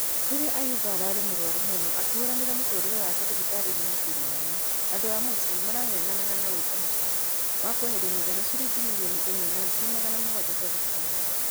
Rĩrĩ ayimbo ararĩ mũrwaru mũno akĩhũranĩra mũtũrĩre wake thibitarĩ ya mũciĩ mũnene. Andũ a mũciĩ marangenganaga na gwika mũchango wa kweheria mũigana shiringi mirioni ĩmwe na ngiri magana mũgwaja cia thibitari.